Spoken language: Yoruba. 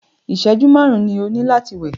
ìṣẹ̀jú márùn ni o ní láti wẹ̀!